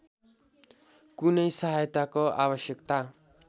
कुनै सहायताको आवश्यकता